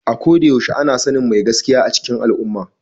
A ko da yaushe ana sanin mai gaskiya a cikin al’umma.